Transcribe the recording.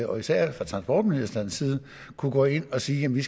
og især fra transportministerens side kunne gå ind og sige at vi